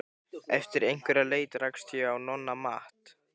Eftir einhverja leit rakst ég á Nonna Matt.